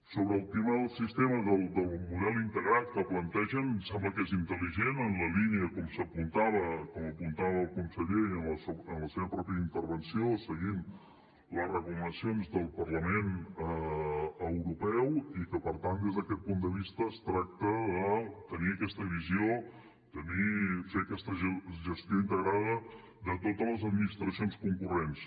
sobre el tema del sistema del model integrat que plantegen em sembla que és intel·ligent en la línia com s’apuntava com apuntava el conseller en la seva pròpia intervenció seguint les recomanacions del parlament europeu i que per tant des d’aquest punt de vista es tracta de tenir aquesta visió fer aquesta gestió integrada de totes les administracions concurrents